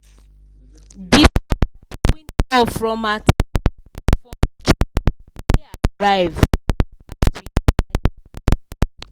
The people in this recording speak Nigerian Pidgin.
d from he.rive